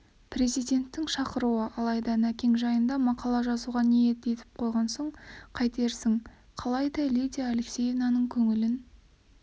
президенттің шақыруы алайда нәкең жайында мақала жазуға ниет етіп қойған соң қайтерсің қалайда лидия алексеевнаның көңілін